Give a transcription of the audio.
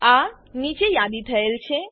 આ નીચે યાદી થયેલ છે